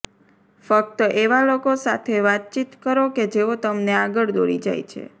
ફક્ત એવા લોકો સાથે વાતચીત કરો કે જેઓ તમને આગળ દોરી જાય છે